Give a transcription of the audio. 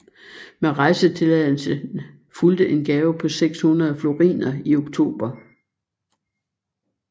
Med rejsetilladelsen fulgte en gave på 600 floriner i oktober